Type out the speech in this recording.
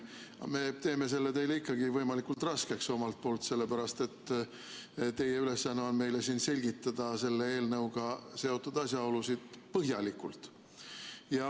Aga me teeme selle teile ikkagi võimalikult raskeks, sellepärast et teie ülesanne on selgitada meile siin selle eelnõuga seotud asjaolusid põhjalikult.